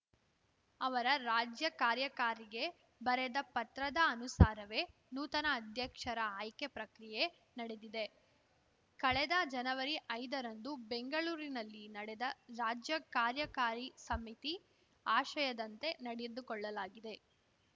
ಅವರ ರಾಜ್ಯ ಕಾರ್ಯಕಾರಿಗೆ ಬರೆದ ಪತ್ರದ ಅನುಸಾರವೇ ನೂತನ ಅಧ್ಯಕ್ಷರ ಆಯ್ಕೆ ಪ್ರಕ್ರಿಯೆ ನಡೆದಿದೆ ಕಳೆದ ಜನವರಿ ಐದರಂದು ಬೆಂಗಳೂರಿನಲ್ಲಿ ನಡೆದ ರಾಜ್ಯ ಕಾರ್ಯಕಾರಿ ಸಮಿತಿ ಆಶಯದಂತೆ ನಡೆದುಕೊಳ್ಳಲಾಗಿದೆ